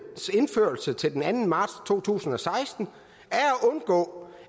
indførelse til den anden marts to tusind og seksten